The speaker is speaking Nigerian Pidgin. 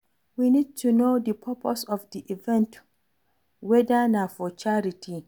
We need to know di purpose of di event weda na for charity